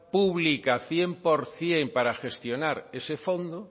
pública cien por ciento para gestionar ese fondo